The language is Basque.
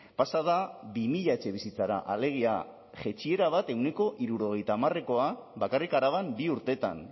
pasa da bi mila etxebizitzara alegia jaitsiera bat ehuneko hirurogeita hamarekoa bakarrik araban bi urteetan